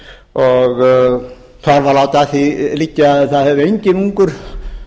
og þar var látið að því liggja að það hefði enginn ungur